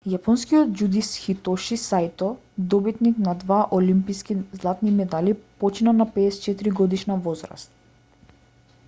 јапонскиот џудист хитоши саито добитник на два олимписки златни медали почина на 54-годишна возраст